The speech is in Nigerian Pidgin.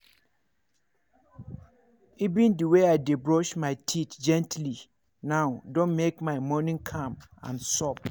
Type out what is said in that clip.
even the way i dey brush my teeth gently now don make my morning calm and soft.